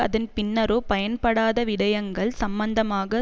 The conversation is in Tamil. அதன் பின்னரோ பயன்படாத விடயங்கள் சம்பந்தமாக